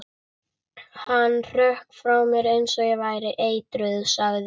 Hann hrökk frá mér eins og ég væri eitruð sagði